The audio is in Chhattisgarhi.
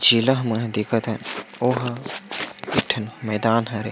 शीला मोहे दिखत हे ओहो एक ठन मैदान हवे।